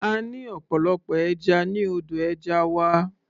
A ní ọ̀pọ̀lọpọ̀ ẹja ní odò ẹja wa.